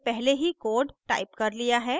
मैंने पहले ही code टाइप कर लिया है